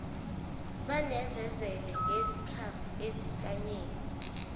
banezezele ngezikhafu ezintanyeni